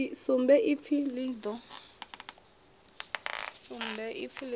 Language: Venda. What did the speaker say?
sumbe ipfi limited ḽi ḓo